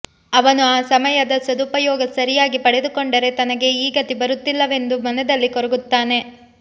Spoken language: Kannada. ಅವನು ಆ ಸಮಯದ ಸದುಪಯೋಗ ಸರಿಯಾಗಿ ಪಡೆದುಕೊಂಡರೆ ತನಗೆ ಈ ಗತಿ ಬರುತ್ತಿಲ್ಲವೆಂದು ಮನದಲ್ಲಿ ಕೊರಗುತ್ತಾನೆ